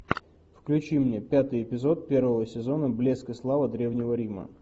включи мне пятый эпизод первого сезона блеск и слава древнего рима